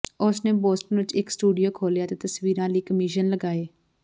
ਉਸ ਨੇ ਬੋਸਟਨ ਵਿਚ ਇਕ ਸਟੂਡੀਓ ਖੋਲ੍ਹਿਆ ਅਤੇ ਤਸਵੀਰਾਂ ਲਈ ਕਮਿਸ਼ਨ ਲਗਾਏ